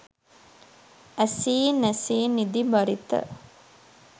ඇසී නැසී නිදි බරිත